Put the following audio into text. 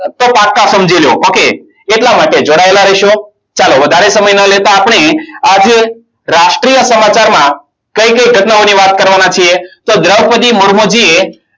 તો પાક્કા સમજી લો okay એટલા માટે જોડાયેલા રહેશો ચાલો વધારે સમય ન લેતા. આપણે આજે રાષ્ટ્રીય સમાચારમાં કઈ કઈ ઘટનાઓની વાત કરવાના છીએ તો દ્રોપદી મૂર્મુજી એ